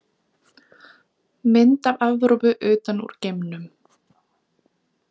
Mynd af Evrópu utan úr geimnum.